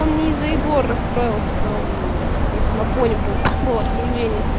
он не из-за егора расстроился там просто на фоне был было обсуждение